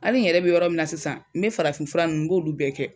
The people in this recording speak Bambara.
Ali n yɛrɛ be yɔrɔ min na sisan n be farafin fura nunnu n b'olu bɛɛ kɛ